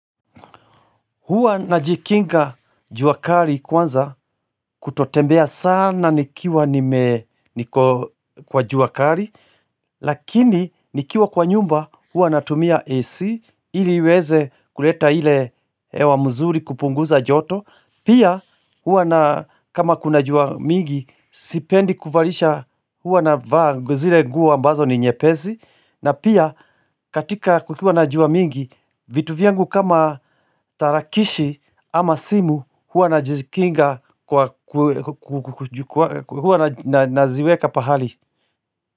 Huwa najikinga jua kari kwanza kutotembea sana nikiwa niko kwa juakari Lakini nikiwa kwa nyumba hua natumia AC ili iweze kuleta ile hewa mzuri kupunguza joto Pia huwa na kama kuna jua mingi sipendi kuvarisha hua navaa zile nguo ambazo ni nyepesi na pia katika kukiwa na jua mingi, vitu vyangu kama tarakishi ama simu hua naziweka pahali.